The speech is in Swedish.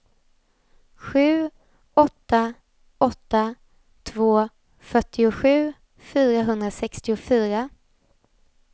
sju åtta åtta två fyrtiosju fyrahundrasextiofyra